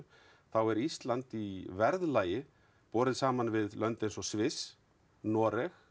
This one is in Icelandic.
þá er Ísland í verðlagi borið saman við lönd eins og Sviss Noreg